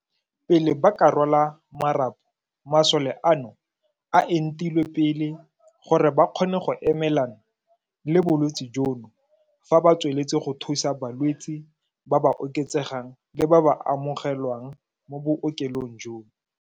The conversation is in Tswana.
Pele ba ka rwala marapo, masole ano a entilwe pele gore ba kgone go emelana le bolwetse jono fa ba tsweletse go thusa balwetse ba ba oketsegang le ba ba amoge lwang mo bookelong jono.